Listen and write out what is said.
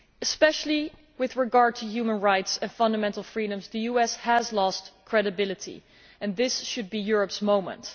Especially with regard to human rights and fundamental freedoms, the US has lost credibility, and this should be Europe's moment.